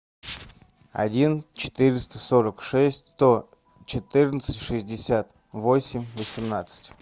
один четыреста сорок шесть сто четырнадцать шестьдесят восемь восемнадцать